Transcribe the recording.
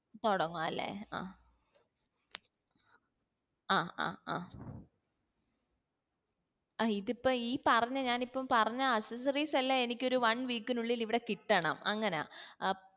തൊടങ്ങുആ അല്ലെ ആ ആഹ് ആഹ് ആഹ് ഇതിപ്പോ ഈ പറഞ്ഞ ഞാൻ ഇപ്പോ പറഞ്ഞ accessories എല്ലാ എനിക്ക് ഒരു one week നുള്ളിൽ എനിക്കിവിടെ കിട്ടണം അങ്ങന അപ്പ്